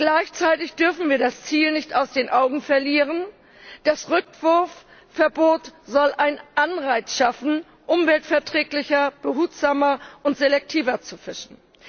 Gleichzeitig dürfen wir das Ziel nicht aus den Augen verlieren Das Rückwurfverbot soll einen Anreiz schaffen, umweltverträglicher, behutsamer und selektiver zu fischen.